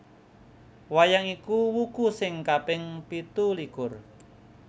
Wayang iku wuku sing kaping pitulikur